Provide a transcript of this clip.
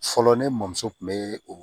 Fɔlɔ ne mɔmuso kun bɛ o